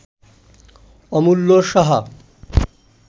Amulya Shah